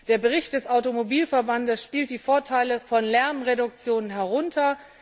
Der Bericht des Automobilverbandes spielt die Vorteile von Lärmreduktionen herunter.